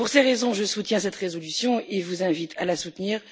Pour ces raisons, je soutiens cette résolution et vous invite à la soutenir.